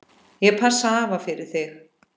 Ég passa afa fyrir þig.